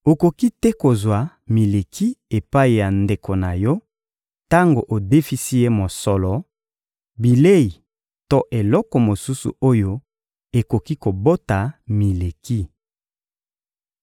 Okoki te kozwa mileki epai ya ndeko na yo tango odefisi ye mosolo, bilei to eloko mosusu oyo ekoki kobota mileki.